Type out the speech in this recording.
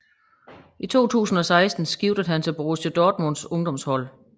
I 2016 skiftede han til Borussia Dortmunds ungdomshold